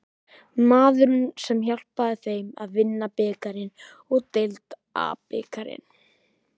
Maðurinn sem hjálpaði þeim að vinna bikarinn og deildabikarinn?